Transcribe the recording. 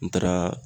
N taaraa